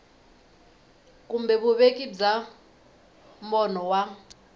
kumbe vuveki bya mbono wa